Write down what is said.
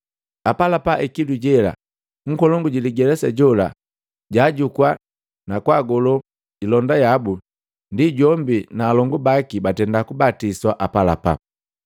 Apalapa ikilu jela nkolongu jiligelesa jola jaajukua na kwaagolo ilonda yabu, ndi jombi na alongu baki batenda kubatiswa apalapala.